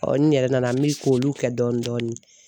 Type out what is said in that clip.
n yɛrɛ nana n mi k'olu kɛ dɔɔni dɔɔni